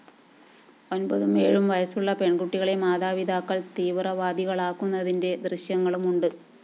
ഒമ്പതും ഏഴും വയസുളള പെണ്‍കുട്ടികളെ മാതാപിതാക്കള്‍ തീവ്രവാദികളാക്കുന്നതിന്റെ ദൃശ്യങ്ങളും ഉണ്ട്